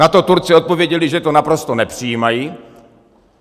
Na to Turci odpověděli, že to naprosto nepřijímají.